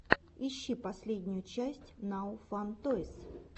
ищи последнюю часть нао фан тойс